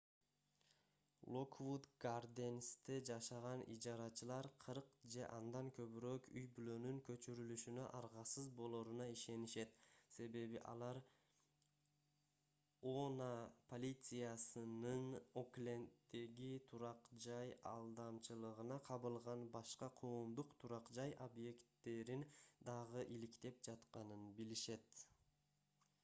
локвуд гарденсьте жашаган ижарачылар 40 же андан көбүрөөк үй-бүлөнүн көчүрүлүшүнө аргасыз болоруна ишенишет себеби алар oha полициясынын окленддеги турак-жай алдамчылыгына кабылган башка коомдук турак-жай объекттерин дагы иликтеп жатканын билишет